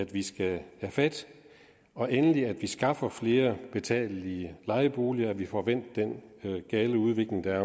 vi skal tage fat og endelig at vi skaffer flere betalelige lejeboliger så vi får vendt den gale udvikling der er